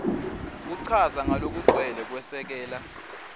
kuchaza ngalokugcwele kwesekela